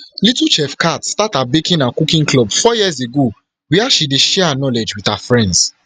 little chef khat start her baking and cooking club four years ago wia she dey share her knowledge wit her friends